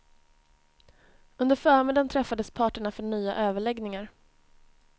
Under förmiddagen träffades parterna för nya överläggningar.